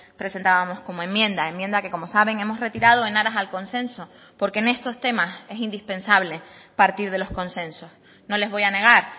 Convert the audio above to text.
presentábamos como enmienda enmienda que como saben hemos retirado en aras al consenso porque en estos temas es indispensable partir de los consensos no les voy a negar